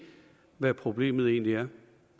hvad problemet egentlig er